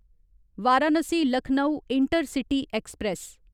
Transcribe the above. Varanasi Lucknow intercity express